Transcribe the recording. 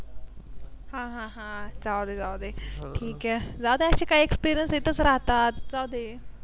हां हां जाऊदे जाऊदे ठीक आहे जाऊदे Experience तिथेच राहतात.